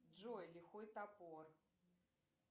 джой лихой топор